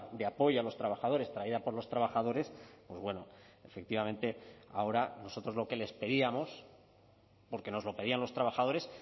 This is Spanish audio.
de apoyo a los trabajadores traída por los trabajadores pues bueno efectivamente ahora nosotros lo que les pedíamos porque nos lo pedían los trabajadores